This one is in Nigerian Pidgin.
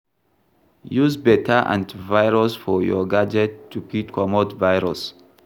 Use better anti virus for your gadget to fit comot virus